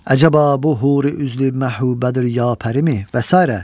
"Əcaba bu huri üzlü məhbubədir ya pərimi?" və sairə.